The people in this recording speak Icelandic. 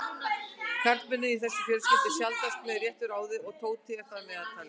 Karlmennirnir í þessari fjölskyldu eru sjaldnast með réttu ráði og Tóti er þar meðtalinn.